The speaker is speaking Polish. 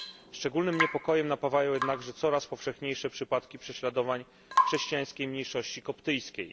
Szczególnym niepokojem napawają jednakże coraz powszechniejsze przypadki prześladowań chrześcijańskiej mniejszości koptyjskiej.